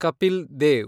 Kapil Dev